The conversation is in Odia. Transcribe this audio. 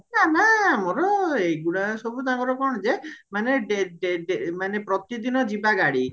ନାଁ ନାଁ ଏଗୁଡା ସବୁ ତାଙ୍କର କଣ ଯେ ମାନେ ଡେ ଡେ ମାନେ ପ୍ରତିଦିନ ଜୀବ ଗାଡି